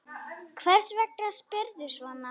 Hvers vegna spyrðu svona?